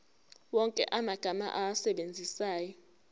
wonke amagama owasebenzisayo